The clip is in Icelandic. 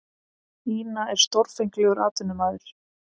Ina er stórfenglegur atvinnumaður.